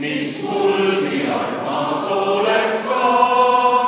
Austatud Riigikogu!